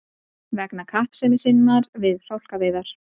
vegna kappsemi sinnar við fálkaveiðar.